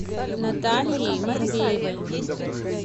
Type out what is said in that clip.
наталией матвеевой